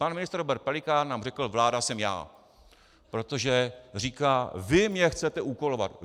Pan ministr Robert Pelikán nám řek "vláda jsem já", protože říká "vy mě chcete úkolovat".